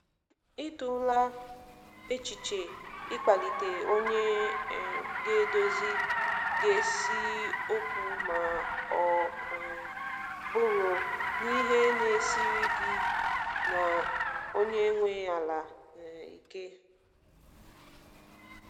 Ị tụla echiche i kpalite onye um ga edozi ga si okwu ma ọ um bụrụ na ihe na-esiri gị na onye nwe ala um ike?